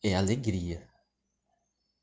и анри герье